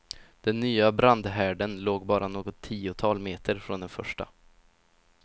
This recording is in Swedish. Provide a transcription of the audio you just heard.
Den nya brandhärden låg bara något tiotal meter från den första.